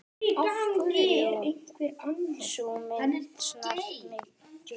Sú mynd snart mig djúpt.